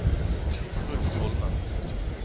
Truls Holmen